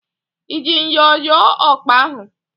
I ji myọ yọọ ọkpa ahụ?